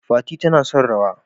Fati tana son rawa.